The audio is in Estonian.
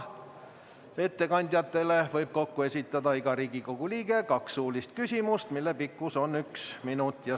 Ettekandjatele võib iga Riigikogu liige esitada kokku kaks suulist küsimust, mille pikkus on üks minut.